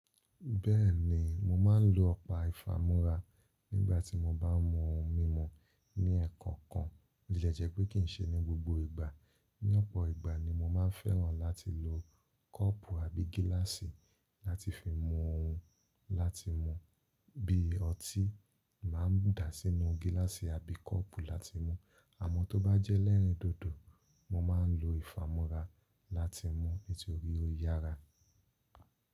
Bẹ́ẹ̀ni, mo máa ń lo ọpá ìfamúra nígbà tí mo bá ń mú ohun mímu ní ẹ̀ẹ̀kankan, bo tie jẹ́ pé kii ṣe ní gbogbo ìgbà. Ní ọ̀pọ̀ ìgbà ni mo máa ń fẹ́ràn láti lo kọ́ọ̀pù àbí gíláàsì láti fi mú ohun láti mú, bíi ọtí máa ń dà sínú gíláàsì àbí kọ́ọ̀pù láti mú, àmọ́ tó bá jẹ́ elẹ́rìn dòdò, mo máa ń lo ìfamúra láti múu, nitorií ó yára.